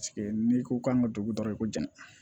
n'i ko k'an ka dugu dɔrɔn ko jan